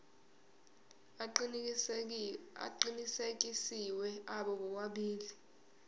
aqinisekisiwe abo bobabili